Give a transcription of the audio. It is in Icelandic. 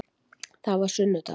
Það var sunnudagur.